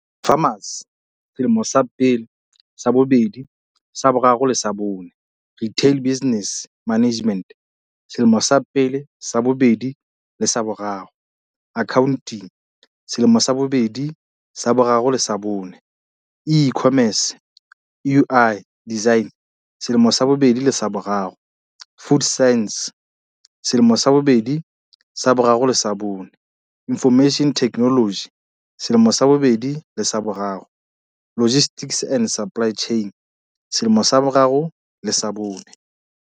Pharmacy- selemo sa pele, sa bobedi, sa bo raro le sa bone. Retail business management- selemo sa pele, sa bobedi le sa boraro. Accounting- selemo sa bobedi, sa boraro le sa bone. E-commerce. UI design- selemo sa bobedi le sa boraro. Food sciences- selemo sa bobedi, sa boraro le sa bone. Information technology- selemo sa bobedi le sa boraro. Logistics and supply chain- selemo sa boraro le sa bone.